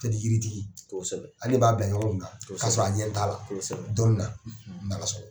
Ka di yiritigi . Ale de b'a bila ɲɔgɔn kunna ka sɔrɔ a ɲɛ t'a la dɔnni na . a ka